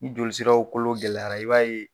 Ni joli siraw kolo gɛlɛyara i b'a ye